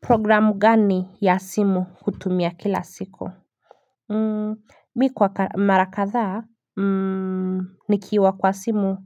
Programu gani ya simu kutumia kila siko Mi kwa mara kadhaa Nikiwa kwa simu